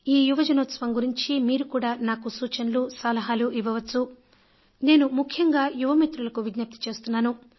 ఈ యువజనోత్సవం గురించి మీరు కూడా నాకు సూచనలు సలహాలు ఇవ్వవచ్చును కదా నేను ముఖ్యంగా యువ మిత్రులకు విజ్ఞప్తి చేస్తున్నాను